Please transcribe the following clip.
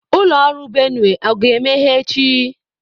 Ụlọ ọrụ Benue a ga-emeghe echi?